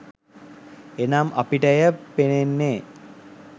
එනම් අපට එය පෙනෙන්නේ